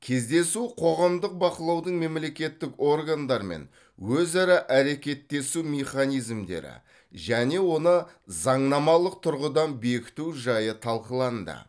кездесу қоғамдық бақылаудың мемлекеттік органдармен өзара әрекеттесу механизмдері және оны заңнамалық тұрғыдан бекіту жайы талқыланды